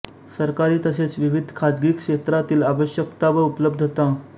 सरकारी तसेच विविध खाजगी क्षेत्रांतील आवश्यकता आणि उपलब्धता